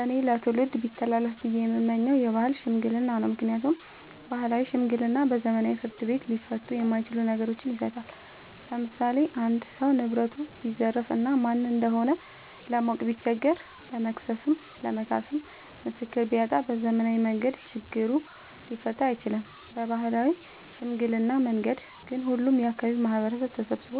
እኔ ለትውልድ ቢተላለፍ ብዬ የምመኘው የባህል ሽምግልና ነው። ምክንያቱም ባህላዊ ሽምግልና በዘመናዊ ፍርድ ቤት ሊፈቱ የማይችሉ ነገሮችን ይፈታል። ለምሳሌ አንድ ሰው ንብረቱን ቢዘረፍ እና ማን እንደሆነ ለማወቅ ቢቸገር ለመክሰስም ለመካስም ምስክር ቢያጣ በዘመናዊ መንገድ ችግሩ ሊፈታ አይችልም። በባህላዊ ሽምግልና መንገድ ግን ሁሉም የአካባቢው ማህበረሰብ ተሰብስቦ